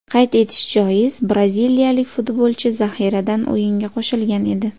Qayd etish joiz, braziliyalik futbolchi zaxiradan o‘yinga qo‘shilgan edi.